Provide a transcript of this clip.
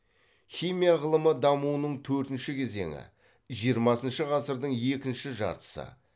химия ғылымы дамуының төртінші кезеңі жиырмасыншы ғасырдың екінші жартысы